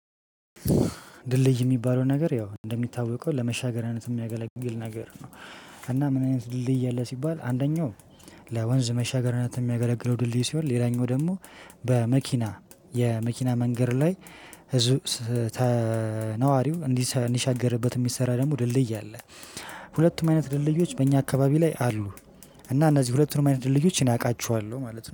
ድልድይ ሚባለው ነገር ያው እንደሚታወቀው ለመሻገሪያነት ሚያገለግል ነገር ነው። እና ምን አይነት ድልድይ አለ ሲባል አንደኛው? ለወንዝ መሻገሪያነት ሚያገለግለው ድልድይ ሲሆን ሌላኛው ደግሞ በመኪና የመኪና መንገድ ላይ ህዝብ ተነዋሪው እንዲሻገርበት ሚሰራ ደግሞ ድልድይ አለ። ሁለቱም አይነት ድልድዮች በእኛ አካባቢ ላይ አሉ። እና እነዚህ ሁለቱንም አይነት ድልድዮች እኔ አውቃቸዋለሁ ማለት ነው